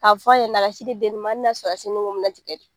K'a fɔ a ɲɛna a ka sin di den ma hali n'a sɔrɔ a sin nun bɛna tigɛ